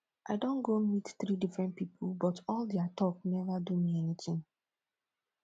i don go meet three different people but all dia talk never do me anything